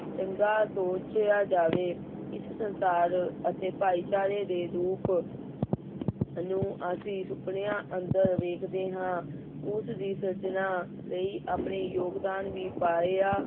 ਚੰਗਾ ਸੋਚਿਆ ਜਾਵੇ, ਇਸ ਸੰਸਾਰ ਅਤੇ ਭਾਈਚਾਰੇ ਦੇ ਰੂਪ ਨੂੰ ਅਸੀਂ ਸੁਪਨਿਆਂ ਅੰਦਰ ਵੇਖਦੇ ਹਾਂ ਉਸ ਦੀ ਸਿਰਜਣਾ ਲਈ ਆਪਣੇ ਯੋਗਦਾਨ ਵੀ ਪਾਇਆ